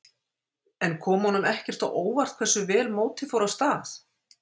En kom honum ekkert á óvart hversu vel mótið fór af stað?